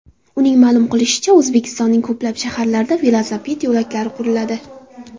Uning ma’lum qilishicha, O‘zbekistonning ko‘plab shaharlarida velosiped yo‘laklari quriladi.